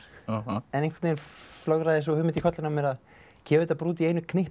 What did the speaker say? en einhvern veginn flögraði sú hugmynd í kollinn á mér að gefa þetta bara út í einu